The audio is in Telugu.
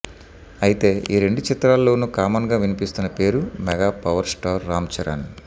అయితే ఈ రెండు చిత్రాల్లోనూ కామన్గా వినిపిస్తున్న పేరు మెగాపవర్ స్టార్ రామ్ చరణ్